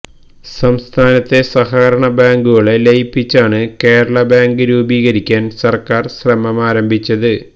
സംസ്ഥാനത്തെ സഹകരണ ബാങ്കുകളെ ലയിപ്പിച്ചാണ് കേരള ബാങ്ക് രൂപീകരിക്കാന് സര്ക്കാര് ശ്രമമാരംഭിച്ചത്